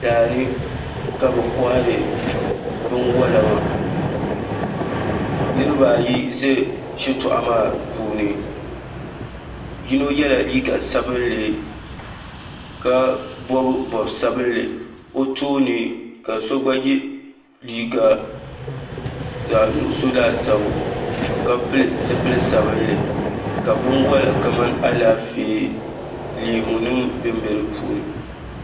Daani ka bi kohari binwola ŋo niraba ayi ʒɛ shitoɣu maa puuni yino yɛla liiga sabinli ka bob bob sabinli o tooni ka so gba yɛ liiga zaɣ nuɣso laasabu ka pili zipili sabinli ka binwola kamani Alaafee leemu nim bɛnbɛ di puuni